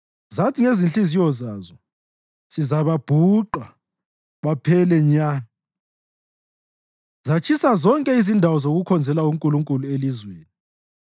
Zathi ngezinhliziyo zazo, “Sizababhuqa baphele nya!” Zatshisa zonke izindawo zokukhonzela uNkulunkulu elizweni.